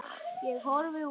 Ég horfi út.